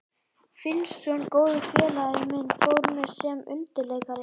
Finnsson, góður félagi minn, fór með sem undirleikari.